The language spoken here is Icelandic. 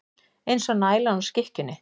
Eins og nælan á skikkjunni.